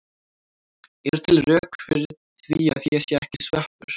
Eru til rök fyrir því að ég sé ekki sveppur?